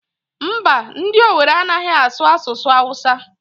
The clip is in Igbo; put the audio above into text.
Mba, ndị Owere anaghị asụ asụsụ Awụsa.